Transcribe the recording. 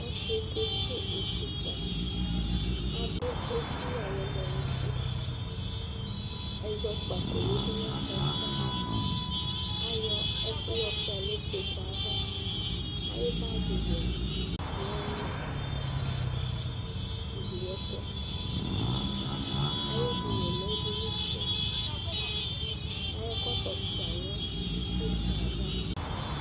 Ɔsɩ yɛ kesuwu utikpǝ Adʋ edini ayʋ ɛlɛnʋti Ɛzɔkpako yǝdu nʋ ɛkplɔ yɛ ava Ayɔ ɛkʋ yɔsʋɩa nʋ ikpoku yɛ ava Ayʋ bagɩwɛ lɛ nʋ ugli yɛ tʋ Ayʋ edini yɛ lɛ edinifue Ayʋ ɛkɔtɔ sʋɩa nʋ itsukpa yɛ ava